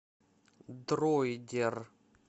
дроидер